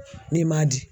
N'i ma di